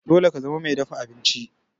Dole ka zama mai dafa abinci!